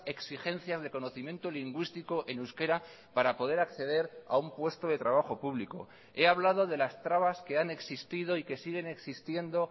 exigencias de conocimiento lingüístico en euskera para poder acceder a un puesto de trabajo público he hablado de las trabas que han existido y que siguen existiendo